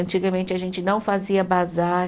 Antigamente, a gente não fazia bazar.